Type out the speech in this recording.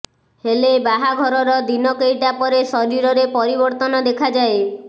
ହେଲେ ବାହାଘରର ଦିନ କେଇଟା ପରେ ଶରୀରରେ ପରିବର୍ତ୍ତନ ଦେଖାଯାଏ